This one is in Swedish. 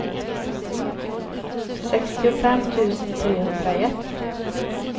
sextiofem tusen trehundraett